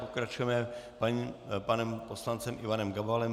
Pokračujeme panem poslancem Ivanem Gabalem.